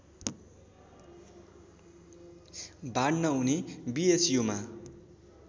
बाँड्न उनी बिएचयुमा